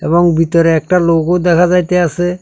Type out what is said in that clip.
এবং বিতরে একটা লোগো দেখা যাইতেয়াসে।